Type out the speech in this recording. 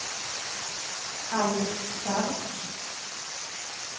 Alice Stark